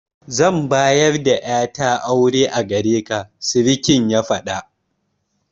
Zan bayar da ƴata aure a gareka, surikin ya faɗa.